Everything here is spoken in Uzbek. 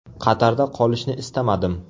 Qatarda qolishni istamadim.